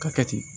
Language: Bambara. Ka kɛ ten